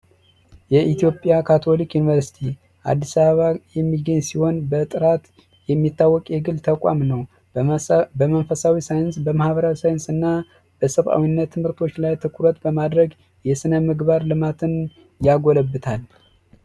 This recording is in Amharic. የኢትዮጵያ ካቶሊክ ዩኒቨርስቲ አዲስ አበባ ሲሆን በጥራት የሚታወቅ የግል ተቋም ነው በመንፈሳዊ ሳይንስ በማህበረ ሳይንስና በሰብዓዊነት ትምህርቶች ላይ ትኩረት በማድረግ የስነ ምግባር ልማትን ያጎለበታል።